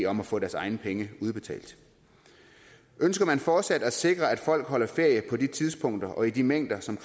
om at få deres egne penge udbetalt ønsker man fortsat at sikre at folk holder ferie på de tidspunkter og i de mængder som